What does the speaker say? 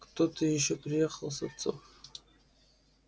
кто-то ещё приехал с отцом